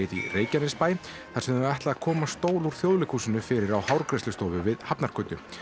í Reykjanesbæ þar sem þau ætla að koma stól úr Þjóðleikhúsinu fyrir á hárgreiðslustofu við Hafnargötu